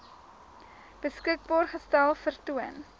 beskikbaar gestel vertoon